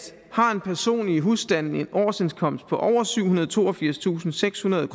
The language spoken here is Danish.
har en person i husstanden en årsindkomst på over syvhundrede og toogfirstusindsekshundrede